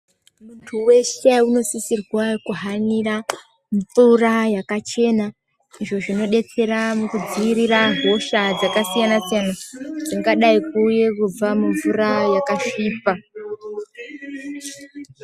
Muntu weshe unosisirwa kuhanira mvura yakachena izvo zvinodetsera kudziirira hosha dzakasiyana siyana dzangadai kuuye kubva mumvura yakasvipa.